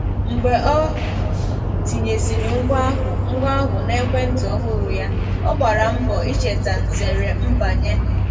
Mgbe ọ tinyesịrị ngwa ahụ ngwa ahụ na ekwentị ọhụrụ ya, Ọ gbara mbọ icheta nzere mbanye.